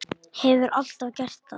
Hefur alltaf gert það.